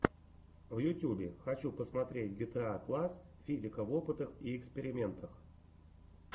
на ютьюбе хочу посмотреть гетаакласс физика в опытах и экспериментах